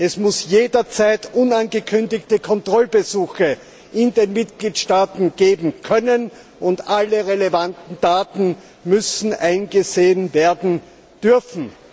Es muss jederzeit unangekündigte Kontrollbesuche in den Mitgliedstaaten geben können, und alle relevanten Daten müssen eingesehen werden dürfen.